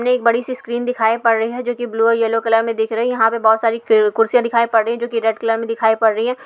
ने एक बडी सी स्क्रीन दिखाई पड़ रही है जो कि ब्लू और येलो कलर में दिख रही है। यहाँ पे बहुत सारी कु कुर्सियाँ दिखाई पड़ रही हैं जो कि रेड कलर में दिखाई पड़ रही है।